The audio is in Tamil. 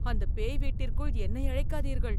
அந்த பேய் வீட்டிற்குள் என்னை அழைக்காதீர்கள்